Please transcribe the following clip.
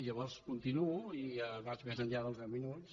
llavors continuo i vaig més enllà dels deu minuts